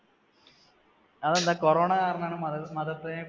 അതെന്താ corona കാരണമാണോ മതത്തി മതത്തിനെ